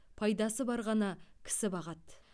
пайдасы бар ғана кісі бағады